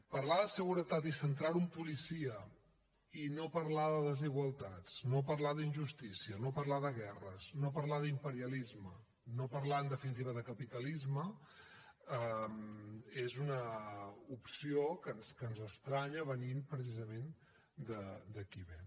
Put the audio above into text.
parlar de seguretat i centrar ho en policia i no parlar de desigualtats no parlar d’injustícia no parlar de guerres no parlar d’imperialisme no parlar en definitiva de capitalisme és una opció que ens estranya venint precisament de qui ve